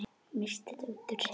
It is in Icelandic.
Missti þetta út úr sér.